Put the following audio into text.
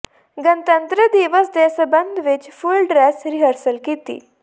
ਗਣਤੰਤਰ ਦਿਵਸ ਦੇ ਸਬੰਧ ਵਿਚ ਫੁੱਲ ਡਰੈੱਸ ਰਿਹਰਸਲ ਕੀਤੀ